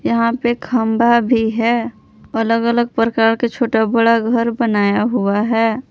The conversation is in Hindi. यहा पे खंबा भी है अलग अलग प्रकार के छोटा बड़ा घर बनाया हुआ हैं।